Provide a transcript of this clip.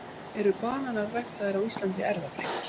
eru bananar ræktaðir á íslandi erfðabreyttir